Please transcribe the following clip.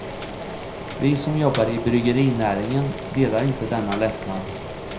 Vi som jobbar i bryggerinäringen delar inte denna lättnad.